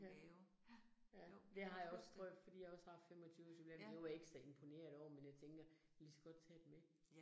Ja. Ja, det har jeg også prøvet fordi jeg også har haft 25 års jubilæum, det var ikke så imponerende over, men jeg tænker kan ligeså godt tage det med